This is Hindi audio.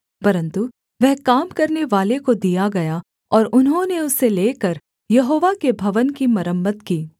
परन्तु वह काम करनेवाले को दिया गया और उन्होंने उसे लेकर यहोवा के भवन की मरम्मत की